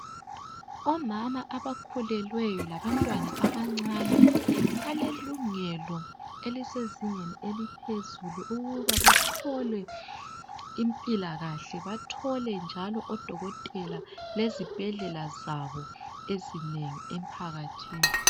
Omama abakhulelweyo labantwana abancane balelungelo elisezingeni eliphezulu ukuba bathole impilakahle bathole njalo odokotela lezibhedlela zabo ezinengi emphakathini.